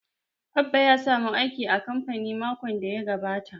Abba ya samu aiki a kamfani makon da ya gabata